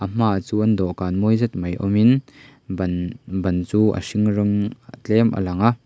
a hmaah chuan dawhkan mawi zet mai awm in ban ban chu a hring rawng tlem a langa.